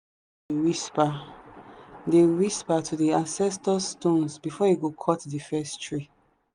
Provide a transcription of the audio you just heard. whisper dey whisper to the ancestor stones before he go cut the first tree.